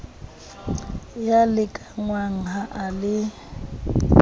ya lekanngwa ha e le